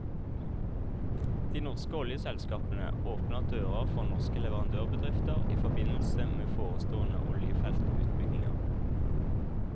De norske oljeselskapene åpner dører for norske leverandørbedrifter i forbindelse med forestående oljefeltutbygginger.